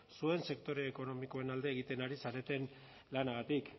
zuen sektore ekonomikoen alde egiten ari zareten lanagatik